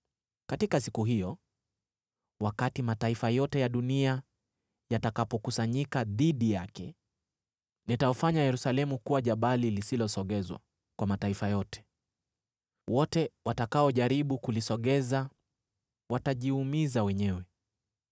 Katika siku hiyo, wakati mataifa yote ya dunia yatakapokusanyika dhidi yake, nitaufanya Yerusalemu kuwa jabali lisilosogezwa kwa mataifa yote. Wote watakaojaribu kulisogeza watajiumiza wenyewe.